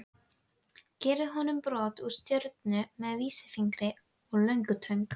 Gerði honum brot úr stjörnu með vísifingri og löngutöng.